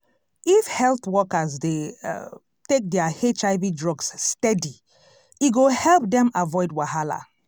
if health workers dey um take their hiv drugs steady e go help dem avoid wahala.